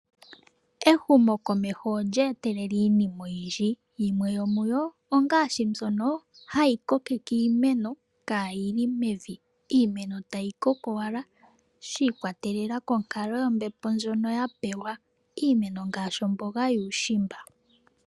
Ehumokomeho olye etelele iinima, oyindji yimwe yomuyo ongaashi mbyono hayi kokeke iimeno, kaayi li mevi, iimeno tayi koko owala shi ikwatelela konkalo yombepo ndjono ya pewa, iimeno ngaashi omboga yuushimba.